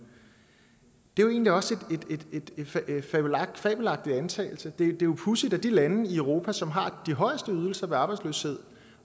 det er egentlig også en fabelagtig antagelse det er jo pudsigt at de lande i europa som har de højeste ydelser ved arbejdsløshed